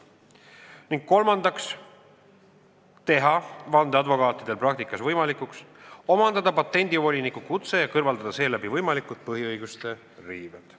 Ning kolmandaks, teha vandeadvokaatide praktikas võimalikuks omandada patendivoliniku kutse ja kõrvaldada seeläbi võimalikud põhiseaduse riived.